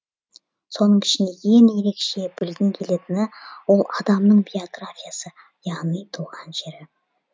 соның ішінде ең ерекше білгің келетіні ол адамның биографиясы яғни туған жері